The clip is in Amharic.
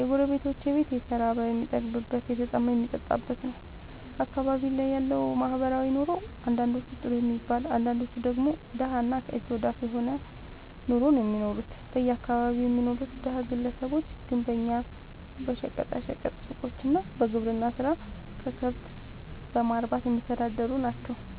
የጎረቤቶቼ ቤት የተራበ የሚጠግብበት የተጠማ የሚጠጣበት ነዉ። አካባቢዬ ላይ ያለዉ ማህበራዊ ኑሮ አንዳንዶቹ ጥሩ የሚባል አንዳንዶቹ ደግሞ ደሀ እና ከእጅ ወደ አፍ የሆነ ኑሮ ነዉ እሚኖሩት በአካባቢየ የሚኖሩት ደሀ ግለሰቦች ግንበኛ በሸቀጣ ሸቀጥ ሡቆች እና በግብርና ስራ ከብት በማርባትየሚተዳደሩ ናቸዉ።